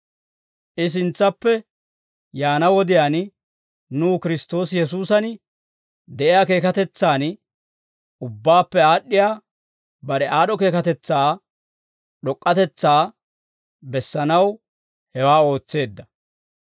I sintsappe yaana wodiyaan, nuw Kiristtoosi Yesuusan de'iyaa keekatetsan, ubbaappe aad'd'iyaa bare aad'd'o keekatetsaa d'ok'k'atetsaa bessanaw hewaa ootseedda.